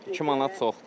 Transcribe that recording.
2 manat çoxdur.